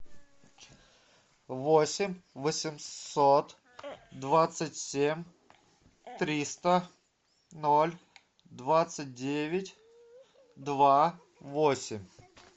восемь восемьсот двадцать семь триста ноль двадцать девять два восемь